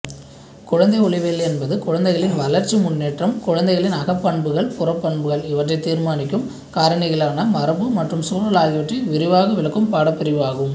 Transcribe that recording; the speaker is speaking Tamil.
குழந்தைஉளவியல் என்பதுகுழந்தைகளின் வளர்ச்சிமுன்னேற்றம்குழந்தைகளின் அகப் பண்புகள்புறப் பண்புகள் இவற்றைத் தீர்மானிக்கும் காரணிகளானமரபுமற்றம் சூழல் ஆகியவற்றைவிரிவாகவிளக்கம் பாடப்பிரிவுஆகும்